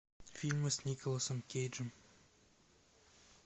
фильмы с николасом кейджем